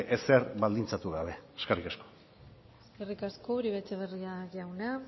ezer baldintzatu gabe eskerrik asko eskerrik asko uribe etxebarria jauna